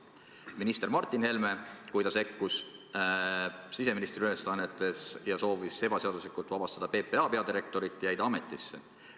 Kui minister Martin Helme sekkus siseministri ülesannetesse ja soovis ebaseaduslikult vabastada PPA peadirektorit, jäi ta ametisse.